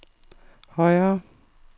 højere